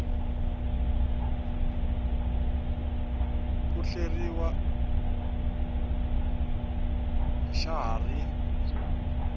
ku hleriw xa ha ri